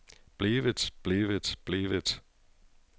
blevet blevet blevet